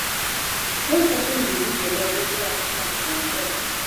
make sure say you dey give your dog regular exercise for en health